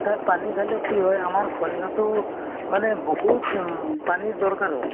খায় পানী খালে, কি হয় আমাৰ শৰীৰতো, মানে বহুত উম পানীৰ দৰকাৰ হয় ।